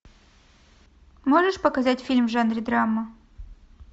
можешь показать фильм в жанре драма